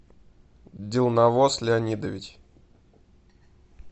дилнавоз леонидович